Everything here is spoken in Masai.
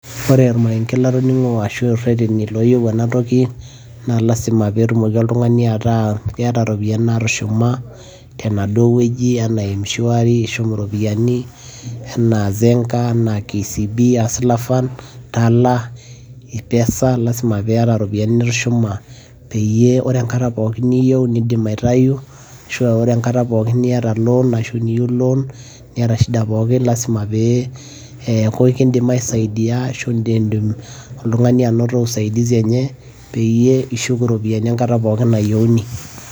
ore ormarenke latoning'o ashu aa reteni looyieu ena toki, naa lasima peeetuoki oltungani ataa keta iropiyiani naatushuma, tenaduoo wueji aana mshwari anaa zenka, anaa kcb anaa hustler fund, tala, ipesa lasima pee iyata iropiyiani nitushuma peyie ore enkata pookin niyieu, nidim aitayu, ashu ore enkata pookin niyieu loan, niyata shida pookin, lasima pee eeku ekidim aisaidia ashu idim oltungani anoto usaidisi enye peyie ishuk iropiyiai enkata pookin nayieuni.